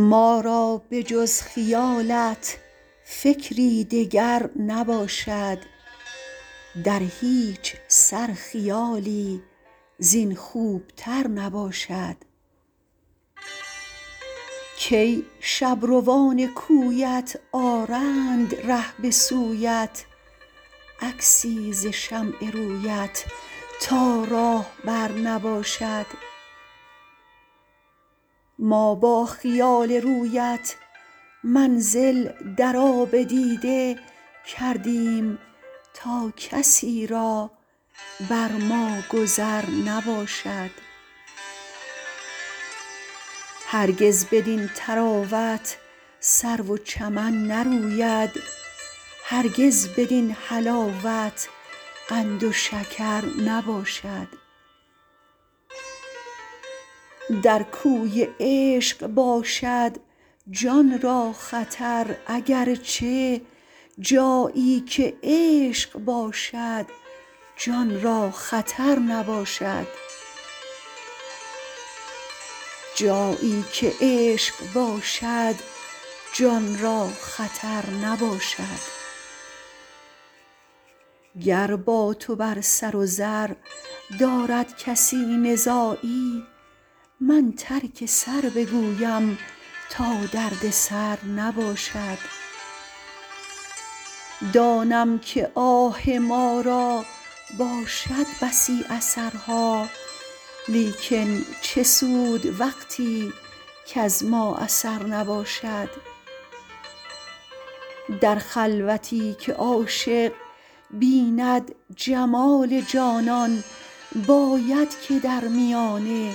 ما را به جز خیالت فکری دگر نباشد در هیچ سر خیالی زین خوب تر نباشد کی شبروان کویت آرند ره به سویت عکسی ز شمع رویت تا راهبر نباشد ما با خیال رویت منزل در آب دیده کردیم تا کسی را بر ما گذر نباشد هرگز بدین طراوت سرو و چمن نروید هرگز بدین حلاوت قند و شکر نباشد در کوی عشق باشد جان را خطر اگر چه جایی که عشق باشد جان را خطر نباشد گر با تو بر سر و زر دارد کسی نزاعی من ترک سر بگویم تا دردسر نباشد دانم که آه ما را باشد بسی اثرها لیکن چه سود وقتی کز ما اثر نباشد در خلوتی که عاشق بیند جمال جانان باید که در میانه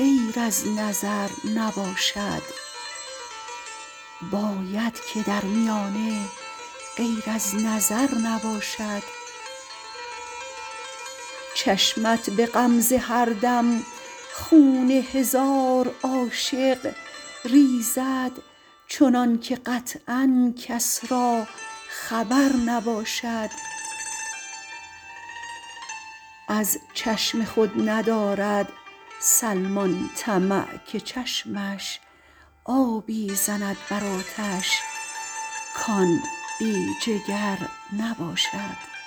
غیر از نظر نباشد چشمت به غمزه هر دم خون هزار عاشق ریزد چنانکه قطعا کس را خبر نباشد از چشم خود ندارد سلمان طمع که چشمش آبی زند بر آتش کان بی جگر نباشد